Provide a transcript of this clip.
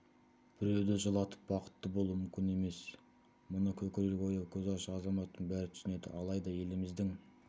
біреуді жылатып бақытты болу мүмкін емес мұны көкірегі ояу көзі ашық азаматтың бәрі түсінеді алайда еліміздің